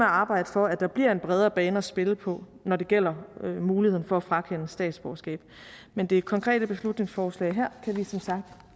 arbejde for at der bliver en bredere bane at spille på når det gælder muligheden for at frakende statsborgerskab men det konkrete beslutningsforslag her kan vi som sagt